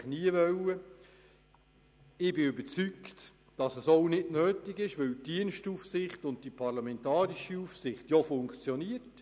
Ich bin überzeugt, dass dies nicht notwendig ist, da die Dienstaufsicht und die parlamentarische Aufsicht funktionieren.